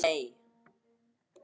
Bandaríkin þrýsta á Pakistan